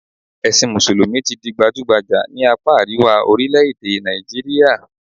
Ẹ̀sìn mùsùlùmí ti di gbajúgbajà ní àpá àríwá orílẹ̀-èdè Nàìjíríà